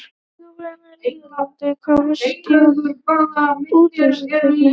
Sigurvegarar riðlanna komast í úrslitakeppni.